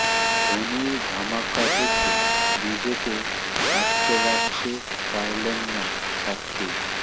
ধোনির ধামাকা দেখে নিজেকে আটকে রাখতে পারলেন না সাক্ষী